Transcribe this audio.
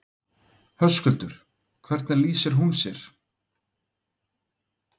Höskuldur: Hvernig lýsir hún sér?